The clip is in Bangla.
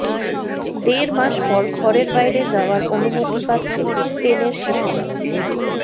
দেড় মাস পর ঘরের বাইরে যাওয়ার অনুমতি পাচ্ছে স্পেনের শিশুরা